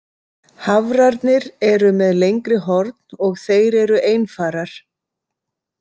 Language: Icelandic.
Hafrarnir eru með lengri horn og þeir eru einfarar.